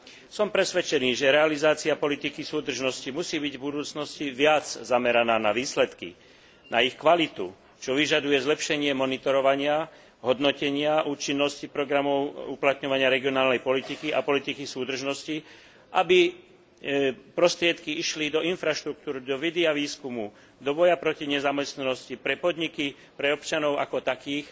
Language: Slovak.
Som presvedčený, že realizácia politiky súdržnosti musí byť v budúcnosti viac zameraná na výsledky, na ich kvalitu, čo vyžaduje zlepšenie monitorovania, hodnotenia účinnosti programov uplatňovania regionálnej politiky a politiky súdržnosti, aby prostriedky išli do infraštruktúry, do vedy a výskumu, do boja proti nezamestnanosti, pre podniky, pre občanov ako takých,